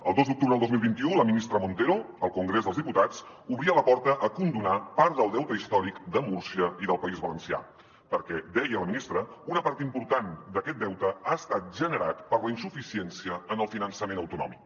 el dos d’octubre del dos mil vint u la ministra montero al congrés dels diputats obria la porta a condonar part del deute històric de múrcia i del país valencià perquè deia la ministra una part important d’aquest deute ha estat generat per la insuficiència en el finançament autonòmic